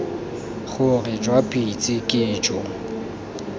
gore jwa pitse ke jo